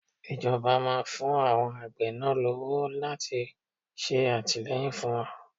Ìjọba máa ń fún àwọn ẹgbẹ́ àgbẹ̀ náà ní owó láti ṣe àtìleyìn fún wọn.